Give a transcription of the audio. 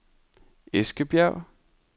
Eskebjerg